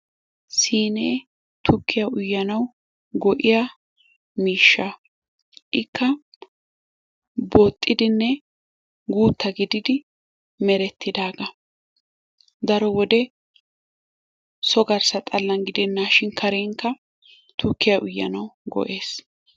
siinee tukkiyaa uyyanawu go'iyaa miishsha. Ikka booxxidinne guutta giididi merettidagaa. Daro wode so garssa xaallan gidenaashin karenkka tukkiyaa uyyanawu go"ees.